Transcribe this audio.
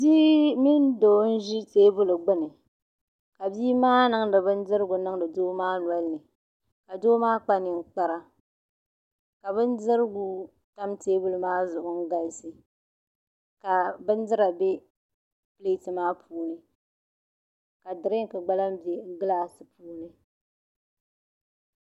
Bii mini doo n zi tɛɛbuli gbuni ka bii maa niŋdi bin dirigu n niŋdi doo maa nolini ka doo maa kpa niŋ kpara ka bin dirgu tam tɛɛbuli zuɣu n galisi ka bin dira bɛ pileeti maa puuni ka dirinki gba lahi bɛ gilaasi puuni